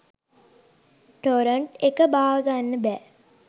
Torrent එක බාගන්න බැ!